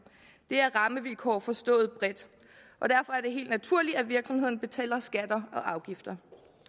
det er rammevilkår forstået bredt og derfor er det helt naturligt at virksomhederne betaler skatter og afgifter